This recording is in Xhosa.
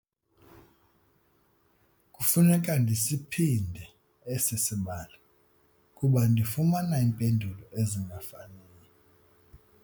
Kufuneka ndisiphinde esi sibalo kuba ndifumana iimpendulo ezingafaniyo.